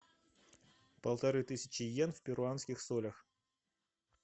полторы тысячи йен в перуанских солях